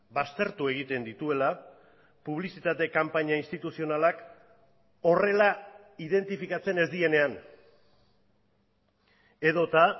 baztertu egiten dituela publizitate kanpaina instituzionalak horrela identifikatzen ez direnean edota